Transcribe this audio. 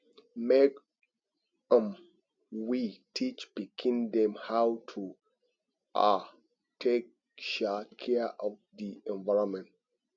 make um we teach pikin dem how to um take um care of di environment